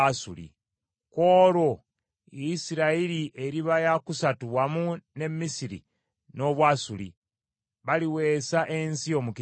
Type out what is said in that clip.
Ku olwo Isirayiri eriba yakusatu wamu ne Misiri n’Obwasuli, baliweesa ensi omukisa.